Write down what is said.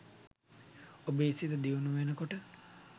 ඔබේ සිත දියුණු වෙන කොට